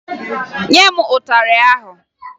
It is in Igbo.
Nye m ịtarị ahụ!